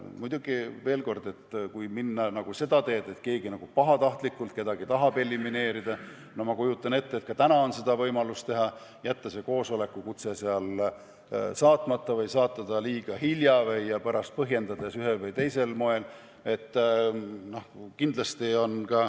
Aga veel kord, kui keegi pahatahtlikult tahab kedagi elimineerida, siis ma kujutan ette, et ka praegu on võimalus seda teha, jätta koosolekukutse saatmata või saata see liiga hilja ja pärast põhjendada seda ühel või teisel moel.